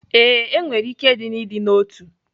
Ee, e nwere ike dị n'ịdị n'otu